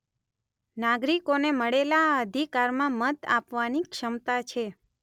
નાગરિકોને મળેલા આ અધિકારમાં મત આપવાની ક્ષમતા છે